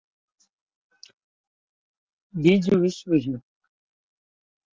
બીજા વિશ્વ યુઘ્ધ .